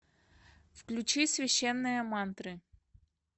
включи священные мантры